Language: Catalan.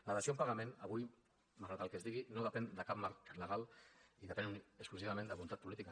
la dació en pagament avui malgrat el que es digui no depèn de cap marc legal i depèn exclusivament de la voluntat política